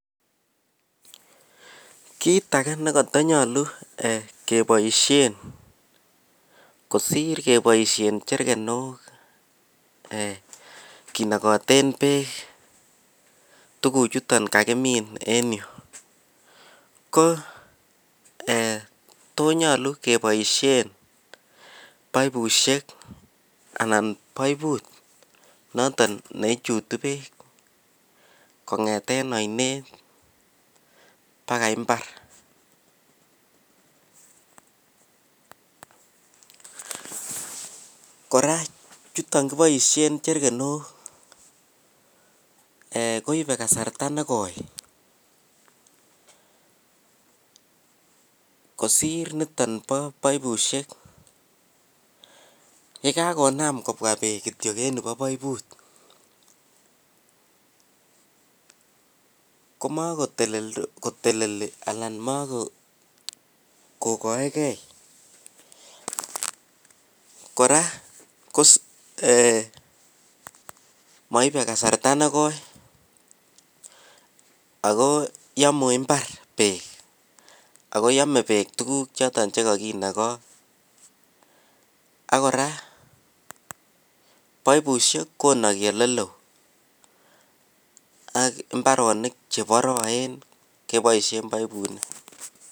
Kit age ne kotonyolu eeh keboisien kosir keboisien jerkenok eeh kinokoten beek tuguchuton kakimin eng yuu ko eeh tonyolu keboisien baibusiek anan baibut noton neichutu beek kongeten oinet bakai mbar. Korak chuton kiboisien jerkenok eehkoibe kasarta nekoi kosir niton bo baibusiek yekakonam kobwa kityok beek eng nikobo baibut komakoteldos koteleli anan makokoegen korak kos eeh moibe kasarta nekoi ago yomu mbar beek ago yome beek tuguk choton che kokinogo ak korak baibusiek konaki ole loo AK mbaronik che boroen keboisien baibuinik.